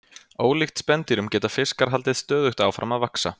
ólíkt spendýrum geta fiskar haldið stöðugt áfram að vaxa